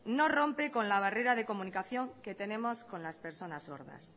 no rompe con la barrera de comunicación que tenemos con las personas sordas